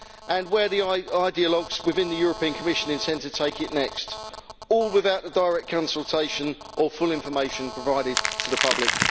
and where the ideologues within the European Commission intend to take it next, all without the direct consultation or full information provided to the public.